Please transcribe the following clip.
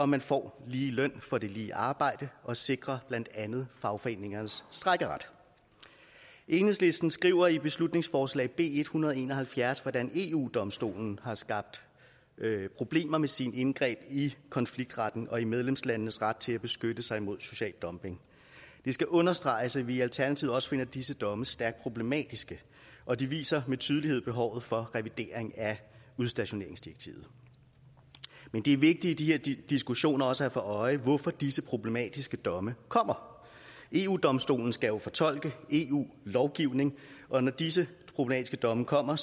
man får lige løn for det lige arbejde og sikre blandt andet fagforeningernes strejkeret enhedslisten skriver i beslutningsforslag b en hundrede og en og halvfjerds hvordan eu domstolen har skabt problemer med sine indgreb i konfliktretten og i medlemslandenes ret til at beskytte sig imod social dumping det skal understreges at vi i alternativet også finder disse domme stærkt problematiske og det viser med tydelighed behovet for revidering af udstationeringsdirektivet men det er vigtigt i de her diskussioner også at have for øje hvorfor disse problematiske domme kommer eu domstolen skal jo fortolke eu lovgivning og når disse problematiske domme kommer